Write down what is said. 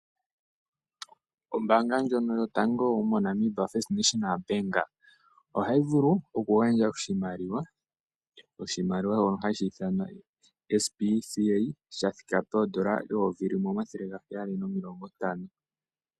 Ombanga ndjono yotango yopashigwana moNamibia (First National Bank)ohayi vulu okugandja oshimaliwa, oshimaliwa wo hashi thanwa SPCA shathika poondola N$175000.00